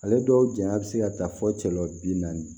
Ale dɔw janya be se ka taa fɔ cɛla bi naani